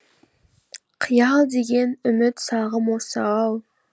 қиял деген үміт сағым осы ау